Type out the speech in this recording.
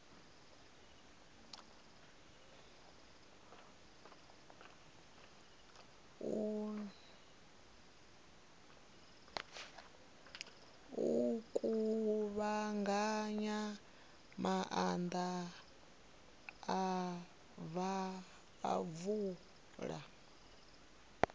u kuvhanganya maḓi a mvula